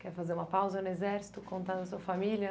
Quer fazer uma pausa no Exército, contar da sua família?